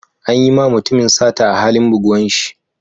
An yi ma mutumin sata a halin buguwan shi.